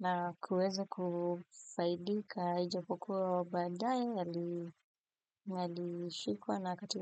na kuweza kufaidika ijapokuwa badaye alishikwa na akatiwa.